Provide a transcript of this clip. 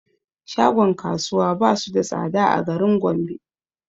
Shagon kasuwa basu da tsada a garin gombe